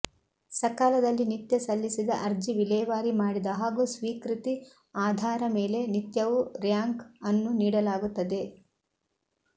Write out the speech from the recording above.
ಸಕಾಲದಲ್ಲಿ ನಿತ್ಯ ಸಲ್ಲಿಸಿದ ಅರ್ಜಿ ವಿಲೇವಾರಿ ಮಾಡಿದ ಹಾಗೂ ಸ್ವೀಕೃತಿ ಆಧಾರ ಮೇಲೆ ನಿತ್ಯವು ರ್ಯಾಂಕ್ ಅನ್ನು ನೀಡಲಾಗುತ್ತದೆ